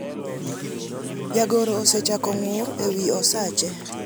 jagoro osechako ng'ur ewi osache